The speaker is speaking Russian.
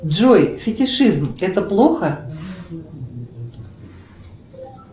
джой фетишизм это плохо